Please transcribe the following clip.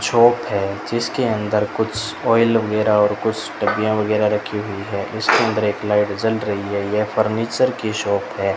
Shop है जिसके अंदर कुछ ऑइल वगैरह और कुछ डब्बीयां वगैरह रखी हुई है इसके अंदर एक लाइट जल रही है यह फर्नीचर की शॉप है।